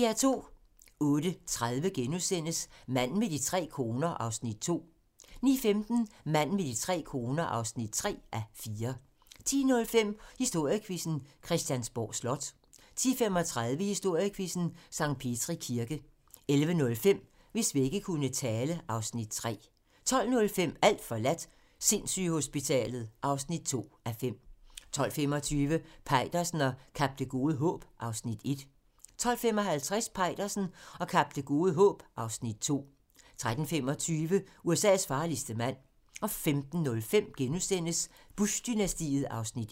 08:30: Manden med de tre koner (2:4)* 09:15: Manden med de tre koner (3:4) 10:05: Historiequizzen: Christiansborg Slot 10:35: Historiequizzen: Sankt Petri Kirke 11:05: Hvis vægge kunne tale (Afs. 3) 12:05: Alt forladt - sindssygehospitalet (2:5) 12:25: Peitersen og Kap Det Gode Håb (Afs. 1) 12:55: Peitersen og Kap Det Gode Håb (Afs. 2) 13:25: USA's farligste mand 15:05: Bush-dynastiet (1:6)*